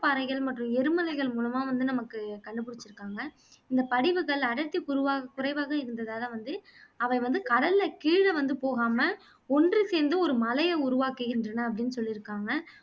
பாறைகள் மற்றும் எரிமலைகள் மூலமா வந்து நமக்கு கண்டுபிடிச்சுருக்காங்க இந்த படிவுகள் குறுவாக குறைவாக இருந்ததால வந்து அவை வந்து கடல்ல கீழ வந்து போகாம ஒன்று சேர்ந்து ஒரு மலையை உருவாக்குகின்றன அப்படின்னு சொல்லிருக்காங்க